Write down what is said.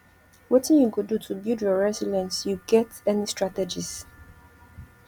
wetin you go do to build your resilience you get any strategies